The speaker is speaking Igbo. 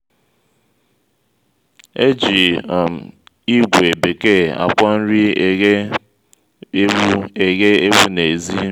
e ji um ígwè bekee akwọ nri eghe/ewu eghe/ewu n'ezi.